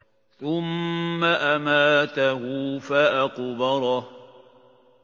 ثُمَّ أَمَاتَهُ فَأَقْبَرَهُ